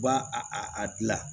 U b'a a a dilan